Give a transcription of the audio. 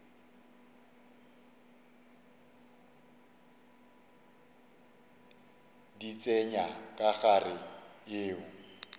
di tsenya ka gare yeo